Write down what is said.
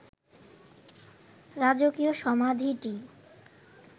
রাজকীয় সমাধিটিই